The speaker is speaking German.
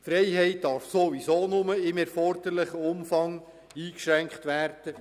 Die Freiheit darf sowieso nur im erforderlichen Umfang eingeschränkt werden.